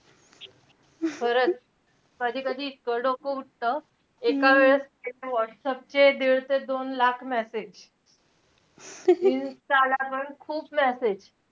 खरंच. कधी-कधी इतकं डोकं उठतं. एका वेळेसचे ते व्हाट्सऍपचे दीड ते दोन लाख message insta ला पण खूप message